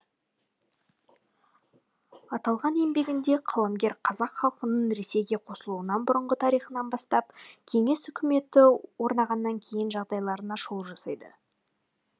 аталған еңбегінде қаламгер қазақ халқының ресейге қосылуынан бұрынғы тарихынан бастап кеңес үкіметі орнағаннан кейінгі жағдайларына шолу жасайды